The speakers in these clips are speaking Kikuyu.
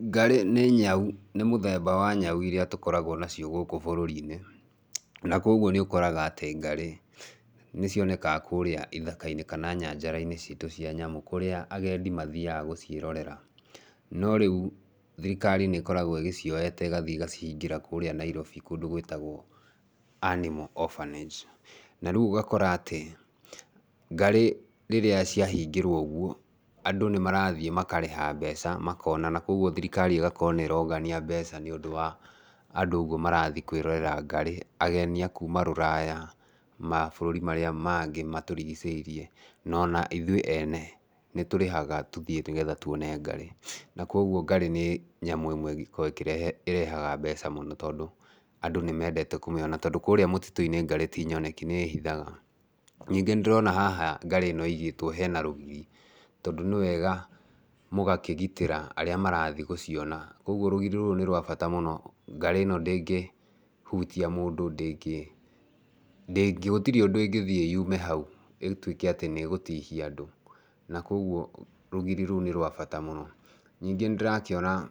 Ngarĩ nĩ nyau, nĩ mũthemba wa nyau iria tũkoragwo nacio gũkũ bũrũri-inĩ, na koguo nĩ ũkoraga atĩ ngarĩ, nĩ cionekaga kũrĩa ithaka-inĩ kana nyanjara-inĩ citũ cia nyamũ, kũrĩa agendi mathiaga gũciĩrorera, no rĩu thirikari nĩ ĩkoragwo ĩgĩcioete ĩgathiĩ ĩgacihingĩra kũrĩa Nairobi kũndũ gũtagwo animal orphanage, na rĩu ũgakora atĩ ngarĩ rĩrĩa ciahingĩrwo ũguo, andũ nĩ marathiĩ makarĩha mbeca makona, na koguo thirikari ĩgakorwo nĩ ĩrongania mbeca nĩ ũndũ wa andũ ũguo marathiĩ kwĩrorera ngarĩ, ageni a kuuma rũraya, mabũrũri marĩa mangĩ matũrigicĩirie, no na ithuĩ ene, nĩ tũrĩhaga tũthiĩ nĩgetha tuone ngarĩ, na koguo ngarĩ nĩ nyamũ ĩmwe ĩngĩkorwo ĩkĩrehe ĩrehaga mbeca mũno tondũ andũ nĩ mendete kũmĩona, tondũ kũrĩa mũtitũ-inĩ ngarĩ ti nyoneki nĩ ĩhithaga, ningĩ nĩ ndĩrona haha ngarĩ ĩno ĩigĩtwo hena rũgiri, tondũ nĩ wega mũgakĩgitĩra arĩa marathiĩ gũciona, ũguo rũgiri rũrũ nĩ rwa bata mũno, ngarĩ ĩno ndĩngĩhutia mũndũ, ndĩngĩ ndĩngĩ gũtirĩ ũndũ ĩngĩthiĩ yume hau ĩtuĩke atĩ nĩ ĩgũtihia mũndũ na koguo rũgiri rũu nĩ rwa bata mũno. Ningĩ nĩ ndĩrakiona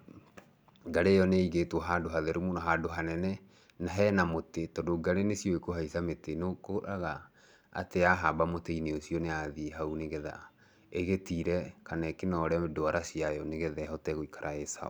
ngarĩ ĩyo nĩ ĩigĩtwo handũ hatheru mũno, handũ hanene, na hena mũtĩ, tondũ ngarĩ nĩ ciũĩ kũhaica mĩtĩ, nĩũkoraga atĩ yahamba mũtĩ-inĩ ũcio nĩ yathiĩ hau nĩgetha ĩgĩtire kana ĩkĩnore ndwara ciayo nĩgetha ĩhote gũikara ĩ sawa.